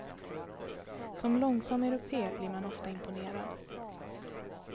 Som långsam europé blir man ofta imponerad.